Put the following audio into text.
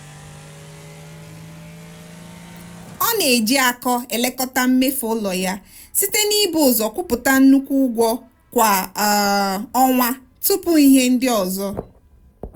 ọ na-eji akọ elekọta mmefu ụlọ ya site n'ibu ụzọ kwụpụta nnukwu ụgwọ kwa um ọnwa tupu ihe ndị ọzọ.